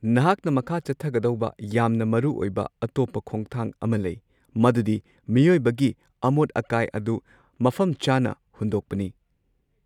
ꯅꯍꯥꯛꯅ ꯃꯈꯥ ꯆꯠꯊꯒꯗꯧꯕ ꯌꯥꯝꯅ ꯃꯔꯨꯑꯣꯏꯕ ꯑꯇꯣꯞꯄ ꯈꯣꯡꯊꯥꯡ ꯑꯃ ꯂꯩ, ꯃꯗꯨꯗꯤ ꯃꯤꯑꯣꯏꯕꯒꯤ ꯑꯃꯣꯠ-ꯑꯀꯥꯏ ꯑꯗꯨ ꯃꯐꯝꯆꯥꯅ ꯍꯨꯟꯗꯣꯛꯄꯅꯤ꯫